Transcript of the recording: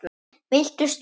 Viltu sleppa!